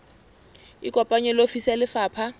ikopanye le ofisi ya lefapha